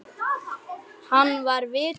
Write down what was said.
Hann var vitur maður.